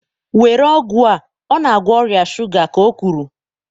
Were ọgwụ a ọ na-agwọ ọrịa shuga ka o kwuru.!